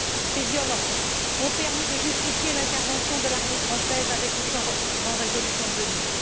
Ces violences ont permis de justifier l'intervention de l'armée française, avec ou sans résolution de l'ONU.